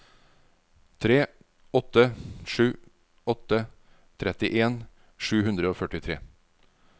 tre åtte sju åtte trettien sju hundre og førtitre